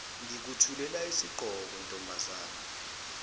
ngikuthulela isigqoko ntombazane